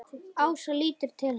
Ása lítur til hans.